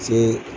Se